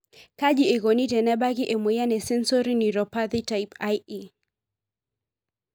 kaji ekoni tenebaki emoyian e sensory neuropathy type IE?